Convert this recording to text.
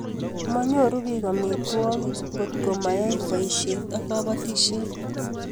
Manyoru biik amitwogik kotko mayai boishet ab batishet